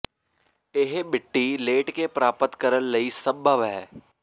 ਇਹ ਮਿੱਟੀ ਲੇਟ ਕੇ ਪ੍ਰਾਪਤ ਕਰਨ ਲਈ ਸੰਭਵ ਹੈ